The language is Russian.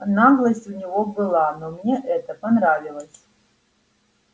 наглость у него была но мне это понравилось